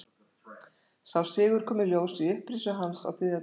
Sá sigur kom í ljós í upprisu hans á þriðja degi.